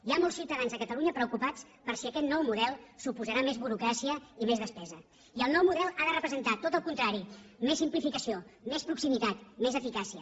hi ha molts ciutadans a catalunya preocupats per si aquest nou model suposarà més burocràcia i més despesa i el nou model ha de representar tot el contrari més simplificació més proximitat més eficàcia